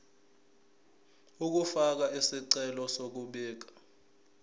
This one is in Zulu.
ukufaka isicelo sokubika